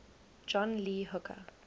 john lee hooker